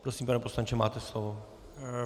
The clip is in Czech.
Prosím, pane poslanče, máte slovo.